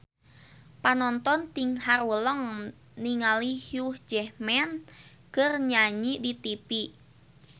Panonton ting haruleng ningali Hugh Jackman keur nyanyi di tipi